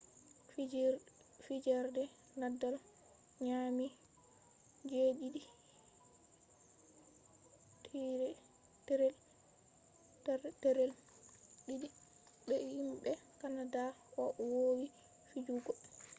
fijerde nadal nyami 7-2 be himɓe kanada o wowi fijugo